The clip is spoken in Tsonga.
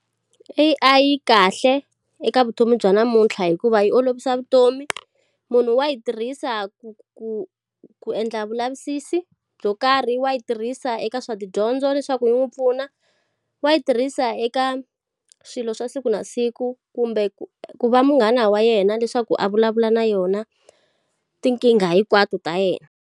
A_I yi kahle eka vutomi bya namuntlha hikuva yi olovisa vutomi. Munhu wa yi tirhisa ku ku ku endla vulavisisi byo karhi, wa yi tirhisa eka swa dyondzo leswaku yi n'wi pfuna, wa yi tirhisa eka swilo swa siku na siku kumbe ku ku va munghana wa yena leswaku a vulavula na yona, tinkingha hinkwato ta yena.